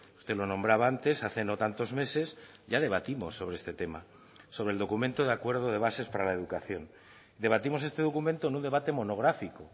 usted lo nombraba antes hace no tantos meses ya debatimos sobre este tema sobre el documento de acuerdo de bases para la educación debatimos este documento en un debate monográfico